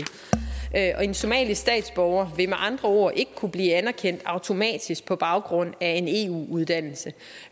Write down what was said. en somalisk statsborger vil med andre ord ikke kunne blive anerkendt automatisk på baggrund af en eu uddannelse